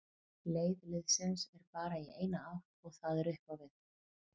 Leið liðsins er bara í eina átt og það er upp á við.